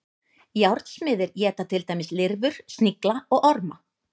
Járnsmiðir éta til dæmis lirfur, snigla og orma.